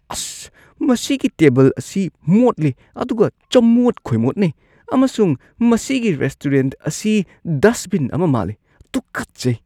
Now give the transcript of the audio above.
ꯑꯁ! ꯃꯁꯤꯒꯤ ꯇꯦꯕꯜ ꯑꯁꯤ ꯃꯣꯠꯂꯤ ꯑꯗꯨꯒ ꯆꯃꯣꯠ-ꯈꯣꯏꯃꯣꯠꯅꯩ ꯑꯃꯁꯨꯡ ꯃꯁꯤꯒꯤ ꯔꯦꯁꯇꯨꯔꯦꯟꯠ ꯑꯁꯤ ꯗꯁꯠꯕꯤꯟ ꯑꯃ ꯃꯥꯜꯂꯤ, ꯇꯨꯀꯠꯆꯩ!!